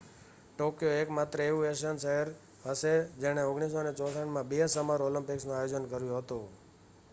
Tokyo એકમાત્ર એવું Asian શહેર હશે જેણે 1964 માં બે સમર ઓલિમ્પિક્સનું આયોજન કર્યું હતું